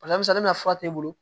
fura t'e bolo